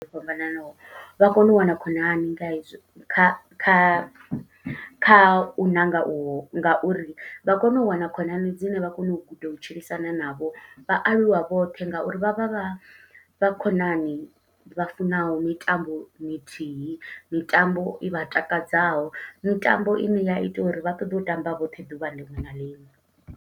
O fhambananaho, vha kone u wana khonani nga hezwi, kha kha kha u ṋanga u nga uri vha kone u wana khonani dzine vha kone u guda u tshilisana navho. Vha aluwa vhoṱhe nga uri vha vha vha vha khonani vha funaho mitambo mithihi. Mitambo i vha takadzaho, mitambo ine ya ita uri vha ṱoḓe u tamba vhoṱhe ḓuvha liṅwe na liṅwe.